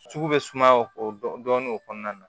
Sugu bɛ suma o dɔnn'o kɔnɔna na